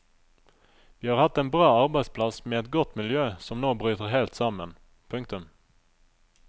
Vi har hatt en bra arbeidsplass med et godt miljø som nå bryter helt sammen. punktum